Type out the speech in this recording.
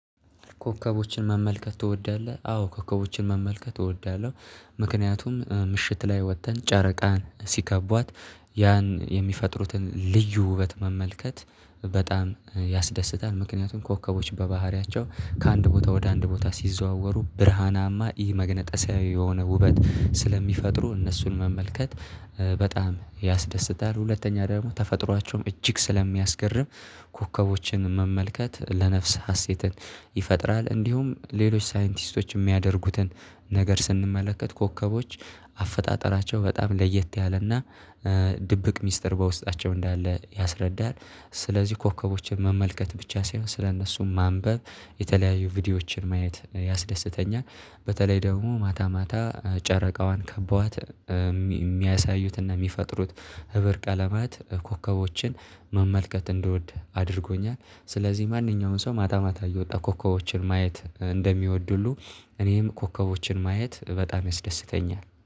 "ኮከቦችን መመልከት ትወዳለህ?" አዎ ኮከቦችን መመልከት እወዳለሁ። ምክንያቱም ምሽት ላይ ወጥተን ጨረቃን ሲከቧት ያን የሚፈጥሩትን ልዩ ውበት መመልከት በጣም ያስደስታል። ምክንያቱም ኮከቦች በባህሪያቸው ከአንድ ቦታ ወደ አንድ ቦታ ሲዘዋወሩ ብርሃናማ ይህ መግነጠሳዊ የሆነ ውበት ስለሚፈጥሩ እነሱን መመልከት በጣም ያስደስታል። ሁለተኛ ደግሞ ተፈጥሯቸውም እጅግ ስለሚያስገርም ኮከቦችን መመልከት ለነፍስ ሀሴትን ይፈጥራል። እንዲሁም ሌሎች ሳይንቲስቶች የሚያደርጉትን ነገር ስንመለከት ኮከቦች አፈጣጠራቸው በጣም ለየት ያለና ድብቅ ሚስጥር በውስጣቸው እንዳለ ያስረዳል። ስለዚህ ኮከቦችን መመልከት ብቻ ሳይሆን ስለእነሱም ማንበብ የተለያዩ ቪዲዮዎችን ማየት ያስደስተኛል። በተለይ ደግሞ ማታ ማታ ጨረቃዋን ከበዋት የሚያሳዩትና የሚፈጥሩት ህብር ቀለማት ኮከቦችን መመልከት እንድወድ አድርጎኛል። ስለዚህ ማንኛውንም ሰው ማታማታ እየወጣ ኮከቦችን ማየት እንደሚወድ ሁሉ እኔም ኮከቦችን ማየት በጣም ያስደስተኛል።